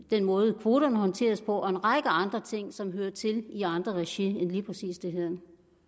den måde kvoterne håndteres på og en række andre ting som hører til i andre regi end lige præcis det her